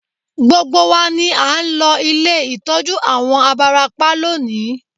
Gbogbo wa ni à ń lọ ilé ìtọ́jú àwọn abarapá lónìí